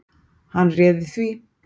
Hann réði því.